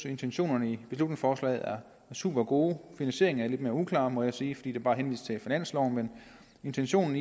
intentionerne i beslutningsforslaget er supergode finansieringen er lidt mere uklar må jeg sige fordi der bare henvises til finansloven men intentionen